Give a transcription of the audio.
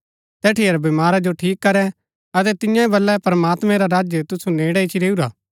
तैठिया रै बीमारा जो ठीक करै अतै तिआंओ वल्‍लैं प्रमात्मैं रा राज्य तुसु नेड़ै इच्ची रैऊआ